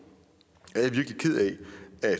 er